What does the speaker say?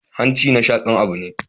Hanci na shaƙan abu ne